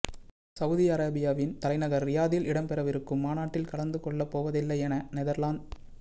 Saudi அரேபியாவின் தலைநகர் றியாதில் இடம்பெறவிருக்கும் மாநாட்டில் கலந்து கொள்ளப்போவதில்லையன நெதர்லாந்த